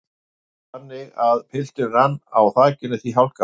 Vildi það til þannig að pilturinn rann á þakinu því hálka var.